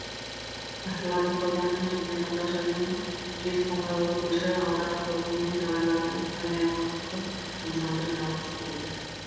ғасырлардың қойнауынан жеткен қазақ жырының жез қоңыраулы көші алдағы толқынмен талайлардың таңдайын қаққызып тамсандырып жалғасып келеді